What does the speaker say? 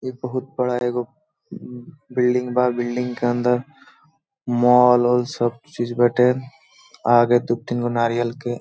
इ बहुत बड़ा एगो बिल्डिंग बा बिल्डिंग के अंदर मॉल - ऑल सब चीझ बाटे आगे दुतिन गो नारियल के --